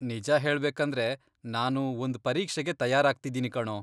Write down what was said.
ನಿಜ ಹೇಳ್ಬೇಕಂದ್ರೆ, ನಾನು ಒಂದ್ ಪರೀಕ್ಷೆಗೆ ತಯಾರಾಗ್ತಿದೀನಿ ಕಣೋ.